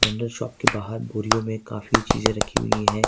General shop के बाहर बोरियो में काफी चीजे रखी हुई है।